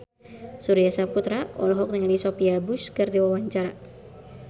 Surya Saputra olohok ningali Sophia Bush keur diwawancara